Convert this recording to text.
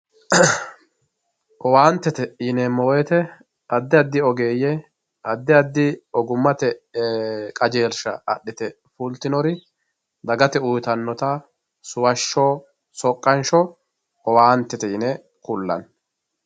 owaantete yineemo woyiite addi addi ogeeye addi addi ogummater qajeelsha axite fultinori dagate uyiitannota suwashsho soqqansho owaantete yine kullanni.